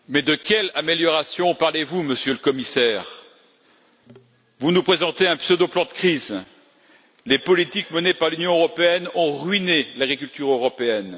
Monsieur le Président, mais de quelles améliorations parlez vous, Monsieur le Commissaire? Vous nous présentez un pseudo-plan de crise. Les politiques menées par l'Union européenne ont ruiné l'agriculture européenne.